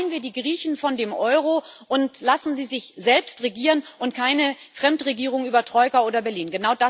Befreien wir die Griechen von dem Euro und lassen sie sich selbst regieren, und keine Fremdregierung über Troika oder Berlin.